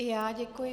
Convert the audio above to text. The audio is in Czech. I já děkuji.